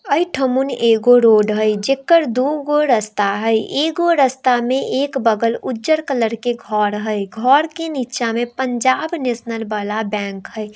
अए ठा मन एगो रोड है जेकर दूगो रास्ता है एगो रास्ता में एक बगल उजल कलर के घर है घर के नीचा पंजाब नेशनल वाला बैंक है।